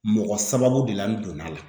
Mɔgɔ sababu de la n donn'a la